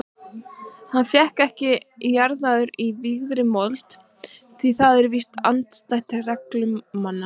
Hann fékkst ekki jarðaður í vígðri mold því það er víst andstætt reglum mannanna.